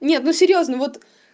нет ну серьёзно вот